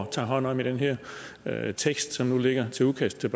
at tage hånd om i den her her tekst som nu ligger som udkast til